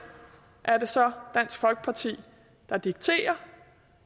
er det så dansk folkeparti der dikterer